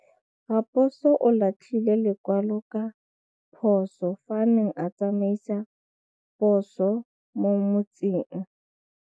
Raposo o latlhie lekwalô ka phosô fa a ne a tsamaisa poso mo motseng.